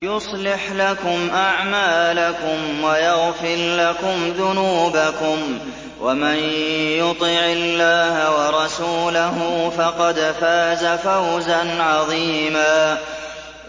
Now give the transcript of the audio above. يُصْلِحْ لَكُمْ أَعْمَالَكُمْ وَيَغْفِرْ لَكُمْ ذُنُوبَكُمْ ۗ وَمَن يُطِعِ اللَّهَ وَرَسُولَهُ فَقَدْ فَازَ فَوْزًا عَظِيمًا